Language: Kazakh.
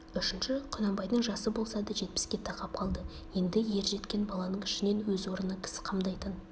үшінші құнанбайдың жасы болса да жетпіске тақап қалды енді ержеткен баланың ішінен өз орнына кісі қамдайтын